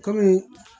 Kɔmi